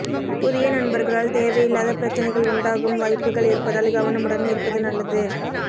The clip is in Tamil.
புதிய நண்பர்களால் தேவையில்லாத பிரச்சனைகள் உண்டாகும் வாய்ப்புகள் இருப்பதால் கவனமுடன் இருப்பது நல்லது